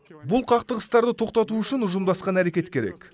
бұл қақтығыстарды тоқтату үшін ұжымдасқан әрекет керек